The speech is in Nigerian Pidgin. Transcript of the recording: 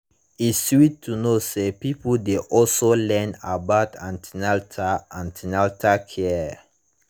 e sweet to know say pipo dey also learn about an ten atal an ten atal care